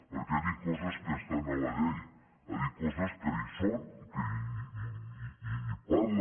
perquè ha dit coses que estan a la llei ha dit que hi són i parla